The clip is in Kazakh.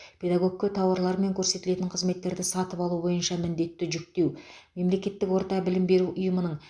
педагогке тауарлар мен көрсетілетін қызметтерді сатып алу бойынша міндетті жүктеу мемлекеттік орта білім беру ұйымының